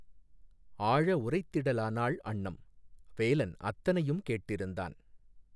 ஆழஉரைத் திடலானாள் அன்னம்! வேலன் அத்தனையும் கேட்டிருந்தான்